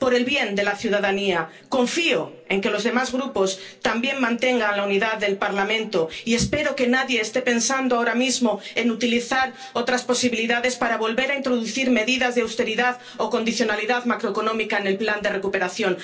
Por el bien de la ciudadanía, confío en que los demás Grupos también mantengan la unidad del Parlamento y espero que nadie esté pensando ahora mismo en utilizar otras posibilidades para volver a introducir medidas de austeridad o condicionalidad macroeconómica en el Plan de Recuperación.